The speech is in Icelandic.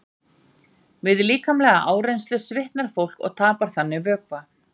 Við líkamlega áreynslu svitnar fólk og tapar þannig vökva.